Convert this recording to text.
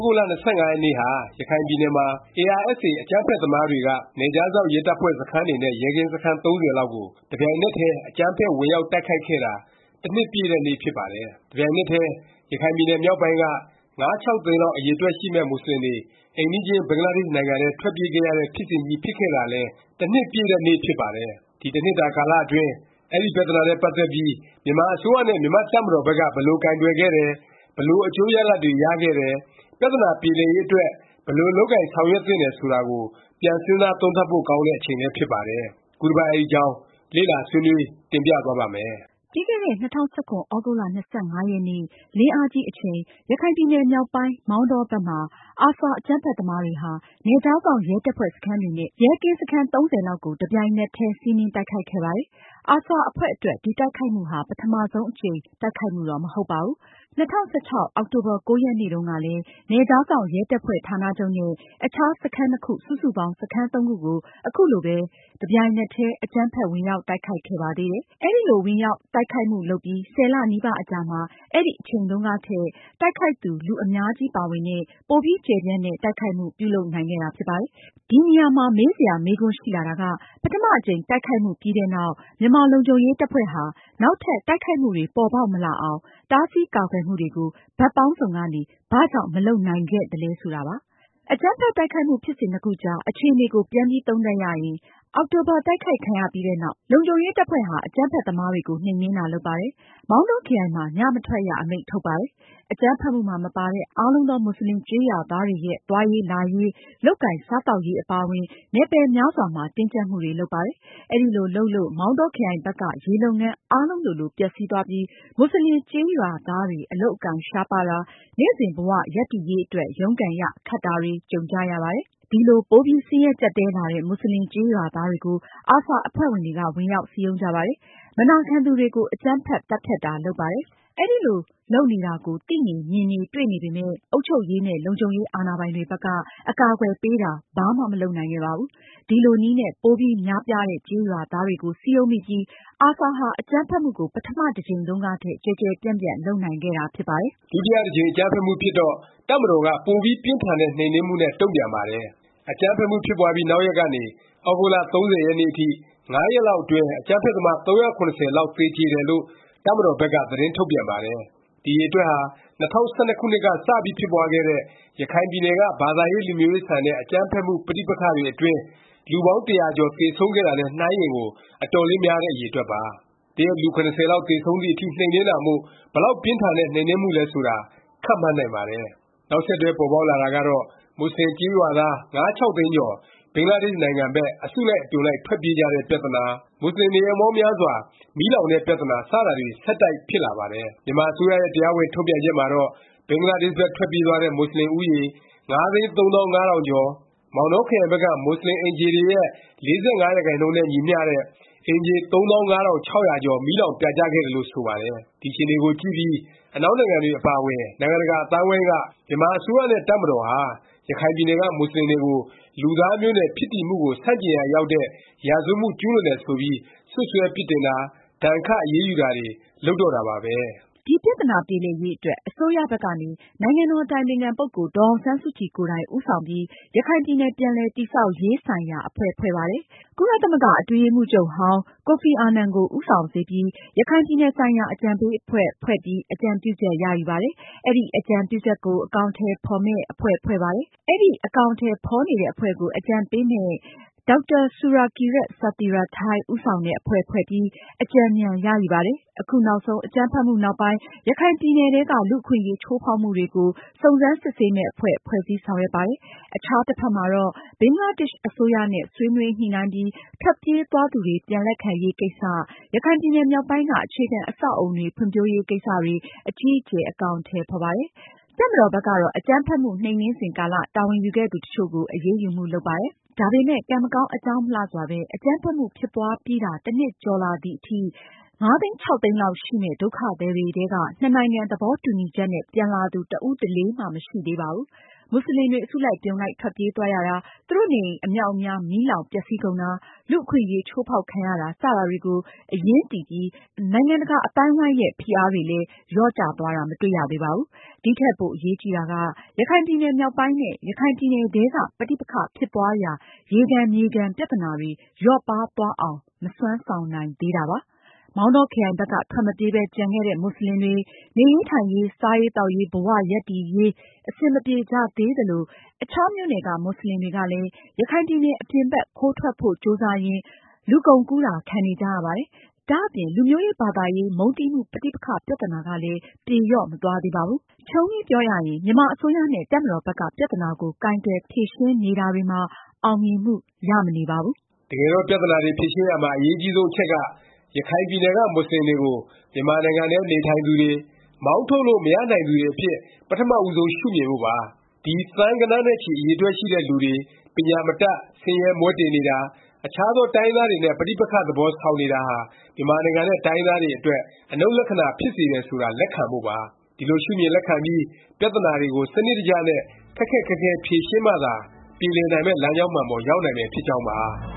ဂုတ်လ ၂၅ ရက်နေ့ဟာ ရခိုင်ပြည်နယ်မှာ ARSA အကြမ်းဖက်သမားတွေက နယ်ခြားစောင့် ရဲတပ်ဖွဲ့ စခန်းတွေနဲ့ ရဲကင်းစခန်း ၃၀ လောက်ကို တပြိုင်နက်တည်း အကြမ်းဖက် ဝင်ရောက် တိုက်ခိုက်ခဲ့တာ တနှစ်ပြည့်တဲ့ နေ့ ဖြစ်ပါတယ်။ တပြိုင်နက်တည်း ရခိုင်ပြည်နယ် မြောက်ပိုင်းက ၅-၆ သိန်းလောက် အရည်အတွက်ရှိမယ့် မူဆလင်တွေ အိမ်နီးချင်း ဘင်္ဂလားဒေ့ရှ် နိုင်ငံထဲ ထွက်ပြေးခဲ့ရတဲ့ ဖြစ်စဉ်ကြီး ဖြစ်ခဲ့တာလည်း တနှစ်ပြည့်တဲ့ နှစ် ဖြစ်ပါတယ်။ ဒီ တနှစ်တာကာလ အတွင်း အဲဒီ ပြသနာနဲ့ ပတ်သက်ပြီး မြန်မာအစိုးရနဲ့ မြန်မာ့တပ်မတော်ဘက်က ဘယ်လိုကိုင်တွယ်ခဲ့တယ်၊ ဘယ်လို အကျိုးရလာဒ်တွေ ရခဲ့တယ်၊ ပြသနာ ပြေလည်ရေးအတွက် ဘယ်လို လုပ်ကိုင်ဆောင်ရွက်သင့်တယ် ဆိုတာကို ပြန်စဉ်းစားသုံးသပ်ဖို့ ကောင်းတဲ့ အချိန်လည်း ဖြစ်ပါတယ်။ ခုတပတ် အဲဒီအကြောင်း လေ့လာ ဆွေးနွေး တင်ပြသွားပါ့မယ်။ ပြီးခဲ့တဲ့ ၂၀၁၇ သြဂုတ်လ ၂၅ ရက်နေ့ လင်းအားကြီးအချိန် ရခိုင်ပြည်နယ် မြောက်ပိုင်း မောင်တောဘက်မှာ ARSA အကြမ်းဖက်သမားတွေဟာ နယ်ခြားစောင့် ရဲတပ်ဖွဲ့ စခန်းတွေနဲ့ ရဲကင်းစခန်း ၃၀ လောက်ကို တပြိုင်နက်တည်း စီးနင်း တိုက်ခိုက်ခဲ့ပါတယ်။ ARSA အဖွဲ့အတွက် ဒီတိုက်ခိုက်မှုဟာ ပထမ ဦးဆုံး အကြိမ် တိုက်ခိုက်မှုတော့ မဟုတ်ပါဘူး။ ၂၀၁၆ အောက်တိုဘာ ၉ ရက်နေ့တုန်းကလည်း နယ်ခြားစောင့် ရဲတပ်ဖွဲ့ ဌာနချုပ်နဲ့ အခြား စခန်းနှစ်ခု စုစုပေါင်း စခန်း သုံးခုကို ခုလိုပဲ တပြိုင်နက်တည်း အကြမ်းဖက် ဝင်ရောက်တိုက်ခိုက်ခဲ့ပါသေးတယ်။ အဲလို ဝင်ရောက်တိုက်ခိုက်မှု လုပ်ပြီး ၁၀ လ နီးပါးအကြာမှာ အဲဒီအချိန်တုန်းကထက် တိုက်ခိုက်သူ လူအများကြီးပါဝင်တဲ့၊ ပိုပြီး ကျယ်ပြန့်တဲ့ တိုက်ခိုက်မှု ပြုလုပ်နိုင်ခဲ့တာ ဖြစ်ပါတယ်။ ဒီနေရာမှာ မေးစရာ မေးခွန်းရှိလာတာက ပထမ အကြိမ် တိုက်ခိုက်မှုပြီးတဲ့နောက် မြန်မာ လုံခြုံရေး တပ်ဖွဲ့ဟာ နောက်ထပ် တိုက်ခိုက်မှုတွေ ပေါ်ပေါက်မလာအောင် တားဆီးကာကွယ်မှုတွေကို ဘက်ပေါင်းစုံကနေ ဘာကြောင့် မလုပ်နိုင်ခဲ့သလဲ ဆိုတာပါ။ အကြမ်းဖက် တိုက်ခိုက်မှု ဖြစ်စဉ်နှစ်ခုအကြား အခြေအနေကို ပြန်သုံးသပ်ရရင် အောက်တိုဘာ တိုက်ခိုက်ခံရပြီးနောက် လုံခြုံရေးတပ်ဖွဲ့ဟာ အကြမ်းဖက်သမားတွေကို နှိမ်နင်းတာ လုပ်ပါတယ်။ မောင်တောခရိုင်မှာ ည မထွက်ရ အမိန့် ထုတ်ပါတယ်။ အကြမ်းဖက်မှုမှာ မပါတဲ့ အားလုံးသော မူဆလင်ကျေးရွာသားတွေရဲ့ သွားရေး လာရေး၊ လုပ်ကိုင်စားသောက်ရေး အပါအဝင် နယ်ပယ်များစွာမှာ တင်းကြပ်မှုတွေလုပ်ပါတယ်။ အဲလို လုပ်လို့ မောင်တောခရိုင်ဘက်က ရေလုပ်ငန်း အားလုံးလိုလို ပျက်စီးသွားပြီး မူဆလင်ကျေးရွာသားတွေ အလုပ်အကိုင် ရှားပါးတာ၊ နေ့စဉ် ဘ၀ ရပ်တည်ရေးအတွက် ရုန်းကန်ရ ခက်တာတွေ ကြုံကြရပါတယ်။ ဒီလို ပိုပြီး ဆင်းရဲကြပ်တည်းလာတဲ့ မူဆလင်ကျေးရွာသားတွေကို ARSA အဖွဲ့ဝင်တွေက ဝင်ရောက်စည်းရုံးကြပါတယ်။ မနာခံသူတွေကို အကြမ်းဖက် သတ်ဖြတ်တာ လုပ်ပါတယ်။ အဲလို လုပ်နေတာကို သိနေ၊ မြင်နေ၊ တွေ့နေပေမယ့် အုပ်ချုပ်ရေးနဲ့ လုံခြုံရေးအာဏာပိုင်တွေဘက်က အကာအကွယ်ပေးတာ ဘာမှ မလုပ်နိုင်ခဲ့ပါဘူး။ ဒီလိုနည်းနဲ့ ပိုပြီးများပြားတဲ့ ကျေးရွာသားတွေကို စည်းရုံးမိပြီး ARSA ဟာ အကြမ်းဖက်မှုကို ပထမ တစ်ကြိမ်တုန်းကထက် ကျယ်ကျယ်ပြန့်ပြန့် လုပ်နိုင်ခဲ့တာဖြစ်ပါတယ်။ ဒုတိယတကြိမ် အကြမ်းဖက်မှုဖြစ်တော့ တပ်မတော်က ပိုပြီးပြင်းထန်တဲ့ နှိမ်နင်းမှုနဲ့ တုန့်ပြန်ပါတယ်။ အကြမ်းဖက်မှု ဖြစ်ပွားပြီး နောက်ရက်ကနေ သြဂုတ်လ ၃၀ ရက်နေ့အထိ ၅ ရက်လောက်အတွင်း အကြမ်းဖက်သမား ၃၇၀ လောက်သေကြေတယ်လို့ တပ်မတော်ဘက်က သတင်းထုတ်ပြန်ပါတယ်။ ဒီအရည်အတွက်ဟာ ၂၀၁၂ ခုနှစ်ကစ ဖြစ်ပွားခဲ့တဲ့ ရခိုင်ပြည်နယ်က ဘာသာရေး လူမျိုးရေးဆန်တဲ့ အကြမ်းဖက်မှု ပဋိပက္ခတွေအတွင်း လူပေါင်း ၁၀၀ ကျော် သေဆုံးခဲ့တာနဲ့ နှိုင်းရင်ကို အတော်လေးများတဲ့ အရည်အတွက်ပါ။ တရက် လူ ၇၀ လောက်သေဆုံးသည် အထိ နှိမ်နင်းတာမို့ ဘယ်လောက် ပြင်းထန်တဲ့ နှိမ်နင်းမှုလည်း ဆိုတာ ခန့်မှန်းနိုင်ပါတယ်။ နောက်ဆက်တွဲ ပေါ်ပေါက်လာတာကတော့ မူဆလင် ကျေးရွာသား ၅-၆ သိန်းကျော် ဘင်္ဂလားဒေ့ရှ်နိုင်ငံဘက် အစုလိုက် အပြုံလိုက် ထွက်ပြေးကြတဲ့ ပြသနာ၊ မူဆလင် နေအိမ်ပေါင်းများစွာ မီးလောင်တဲ့ပြသနာ စတာတွေ ဆက်တိုက် ဖြစ်လာပါတယ်။ မြန်မာ အစိုးရရဲ့ တရားဝင် ထုတ်ပြန်ချက်မှာတော့ ဘင်္ဂလားဒေ့ရှ်ဘက် ထွက်ပြေးသွားတဲ့ မူဆလင် ဦးရေ ၅၃၅၀၀၀ ကျော်၊ မောင်တောခရိုင်ဘက်က မူဆင်အိမ်ခြေတွေရဲ့ ၄၅ ရာခိုင်နှုန်းနဲ့ ညီမျှတဲ့ အိမ်ခြေ ၃၅၆၀၀ ကျော် မီးလောင် ပြာကျခဲ့တယ်လို့ ဆိုပါတယ်။ ဒီအခြေအနေကိုကြည့်ပြီး အနောက်နိုင်ငံတွေ အပါအဝင် နိုင်ငံတကာ အသိုင်းအဝိုင်းက မြန်မာအစိုးရနဲ့ တပ်မတော်ဟာ ရခိုင်ပြည်နယ်က မူဆလင်တွေကို လူသားမျိုးနွယ် ဖြစ်တည်မှုကို ဆန့်ကျင်ရာရောက်တဲ့ ရာဇဝတ်မှု ကျူးလွန်တယ် ဆိုပြီး စွတ်စွဲပစ်တင်တာ၊ ဒါဏ်ခတ် အရေးယူတာတွေ လုပ်တော့တာပါပဲ။ ဒီပြသနာ ပြေလည်ရေးအတွက် အစိုးရဘက်ကနေ နိုင်ငံတော်ရဲ့ အတိုင်ပင်ခံ ဒေါ်အောင်ဆန်းစုကြည် ကိုယ်တိုင် ဦးဆောင်ပြီး ရခိုင်ပြည်နယ် ပြန်လည် တည်ဆောက်ရေးဆိုင်ရာ အဖွဲ့ဖွဲ့ပါတယ်။ ကုလသမဂ္ဂ အထွေထွေ အတွင်းရေးမှူးချုပ်ဟောင်း ကိုဖီအာနန် ကို ဦးဆောင်စေပြီး ရခိုင်ပြည်နယ်ဆိုင်ရာ အကြံပေး အဖွဲ့ ဖွဲ့ပြီး အကြံပြုချက် ရယူပါတယ်။ အဲဒီ အကြံပြုချက်ကို အကောင်အထည် ဖော်မယ့် အဖွဲ့ဖွဲ့ပါတယ်။ အဲဒီ အကောင်အထည် ဖော်နေတဲ့ အဖွဲ့ကို အကြံပေးမယ့် ဒေါက်တာ ဆူရာကီယက် ဆာသီရာထိုင်း ဦးဆောင်တဲ့ အဖွဲ့ဖွဲ့ပြီး အကြံဉာဏ် ရယူပါတယ်။ အခုနောက်ဆုံး အကြမ်းဖက်မှုနောက်ပိုင်း ရခိုင်ပြည်နယ်ထဲက လူ့အခွင့်အရေး ချိုးဖေါက်မှုတွေကို စုံစမ်းစစ်ဆေးမယ့် အဖွဲ့ ဖွဲ့စည်း ဆောင်ရွက်ပါတယ်။ အခြားတစ်ဖက်မှာတော့ ဘင်္ဂလားဒေ့ရှ် အစိုးရနဲ့ ဆွေးနွေးညှိနှိုင်းပြီး ထွက်ပြေးသွားသူတွေ ပြန်လက်ခံရေး ကိစ္စ၊ ရခိုင်ပြည်နယ်မြောက်ပိုင်းက အခြေခံအဆောက်အဦတွေ ဖွံ့ဖြိုးရေးကိစ္စတွေ အကြီးအကျယ် အကောင်အထည် ဖော်ပါတယ်။ တပ်မတော်ဘက်ကတော့ အကြမ်းဖက်မှု နှိမ်နင်းစဉ်ကာလ တာဝန်ယူခဲ့သူ တစ်ချို့ကို အရေးယူမှု လုပ်ပါတယ်။ ဒါပေမယ့် ကံမကောင်း အကြောင်းမလှစွာပဲ အကြမ်းဖက်မှု ဖြစ်ပွားပြီးတာ တနှစ်ကျော်ကြာလာသည်အထိ ၅-၆ သိန်းလောက်ရှိမယ့် ဒုက္ခသည်တွေထဲက နှစ်နိုင်ငံ သဘောတူညီချက်နဲ့ ပြန်လာသူ တစ်ဦးတစ်လေမှ မရှိသေးပါဘူး။ မူဆလင်တွေ အစုလိုက် အပြုံလိုက် ထွက်ပြေးသွားရတာ၊ သူတို့နေအိမ် အမြောက်အများ မီးလောင် ပျက်စီးကုန်တာ၊ လူ့အခွင့်အရေး ချိုးဖေါက်ခံရတာ စတာတွေကို အရင်းတည်ပြီး နိုင်ငံတကာ အသိုင်းအဝိုင်းက လာတဲ့ ဖိအားတွေလည်း လျော့ကျသွားတာ မတွေ့ရသေးပါဘူး။ ဒီထက်ပို အရေးကြီးတာက ရခိုင်ပြည်နယ် မြောက်ပိုင်းနဲ့ ရခိုင်ပြည်နယ်ထဲက ပဋိပက္ခ ဖြစ်ပွားရာ ရေခံမြေခံ ပြသနာတွေ လျော့ပါးသွားအောင် မစွမ်းဆောင်နိုင်သေးတာပါ။ မောင်တောခရိုင်ဘက်က ထွက်မပြေးပဲ ကျန်ခဲ့တဲ့ မူဆလင်တွေ နေရေးထိုင်ရေး စားရေးသောက်ရေး ဘ၀ ရပ်တည်ရေး အဆင်မပြေကြသေးသလို၊ အခြားမြို့နယ်က မူဆလင်တွေကလည်း ရခိုင်ပြည်နယ် အပြင်ဘက် ခိုးထွက်ဖို့ ကြိုးစားရင်း လူကုန်ကူးတာ ခံနေကြရပါတယ်။ ဒါ့အပြင် လူမျိုးရေး၊ ဘာသာရေး မုန်းတီးမှု ပဋိပက္ခ ပြသနာကလည်း ပြေလျော့ မသွားသေးပါဘူး။ ခြုံပြီးပြောရရင် မြန်မာအစိုးရနဲ့ တပ်မတော်ဘက်က ပြသနာကို ကိုင်တွယ် ဖြေရှင်းနေတာတွေမှာ အောင်မြင်မှု ရမနေပါဘူး။ တကယ်တော့ ပြသနာတွေ ဖြေရှင်းရာမှာ အရေးအကြီးဆုံး အချက်က ရခိုင်ပြည်နယ်က မူဆလင်တွေကို မြန်မာနိုင်ငံထဲ နေထိုင်သူတွေ၊ မောင်းထုတ်လို့ မရနိုင်သူတွေအဖြစ် ပထမဦးဆုံး ရှုမြင်ဖို့ပါ။ ဒီ သန်းဂဏန်းနဲ့ချီ အရည်အတွက်ရှိတဲ့ လူတွေ ပညာမတတ်၊ ဆင်းရဲမွဲတေနေတာ၊ အခြားသော တိုင်းရင်းသားတွေနဲ့ ပဋိပက္ခ သဘော ဆောင်နေတာဟာ မြန်မာနိုင်ငံနဲ့ တိုင်းရင်းသားတွေအတွက် အနှုတ်လက္ခဏာ ဖြစ်စေတယ် ဆိုတာ လက်ခံဖို့ပါ။ ဒီလို လက်ခံပြီး ပြသနာတွေကို စနစ်တကျနဲ့ ခက်ခက်ခဲခဲ ဖြေရှင်းမှသာ ပြေလည်မယ့် လမ်းကြောင်းမှန်ပေါ် ရောက်နိုင်မယ် ဖြစ်ကြောင်းပါ